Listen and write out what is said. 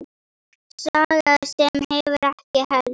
Saga sem hefur ekki elst.